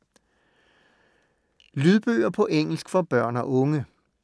Lydbøger på engelsk for børn og unge